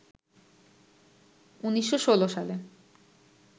১৯১৬ সালে